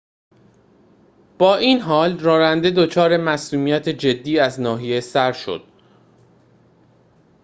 با این حال راننده دچار مصدومیت جدی از ناحیه سر شد